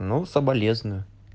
ну соболезную